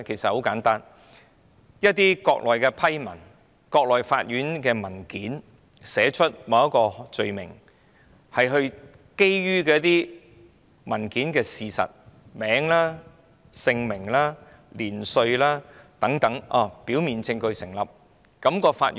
很簡單，一些國內的批文和國內法院的文件會寫出某項罪名，以及基於甚麼事實，也包括有關人士的姓名、年齡等，如果表面證據成立，法院便要處理。